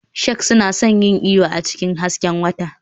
Sharks suna son yin iyo a cikin hasken wata.